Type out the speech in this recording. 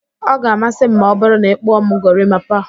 Ọ ga-amasị m ma ọ bụru na ị kpụọ m gorimapa